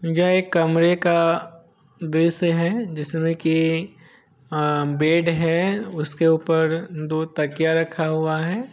जहाँ एक कमरे का दृश्य है ये अअ बेड है उसके ऊपर दो तकिया रखा हुआ है।